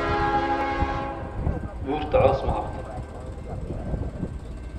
Burta cos magabto.